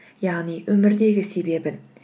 яғни өмірдегі себебін